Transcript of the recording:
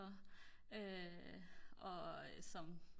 og som